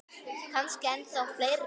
Kannski ennþá fleiri.